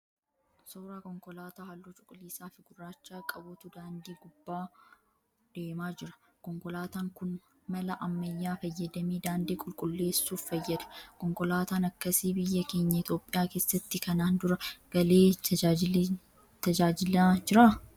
Suuraa konkolaataa halluu cuquliisaa fi gurraacha qabutu daandii gubbaa deemaa jira. Konkolaataan kun mala ammayyaa fayyadamee daandii qulqulleessuuf fayyada. Konkolaataan akkasii biyya keenya Itiyoopiyaa keessatti kanaan dura galee tajaajilaa jiraa?